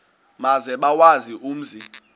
maze bawazi umzi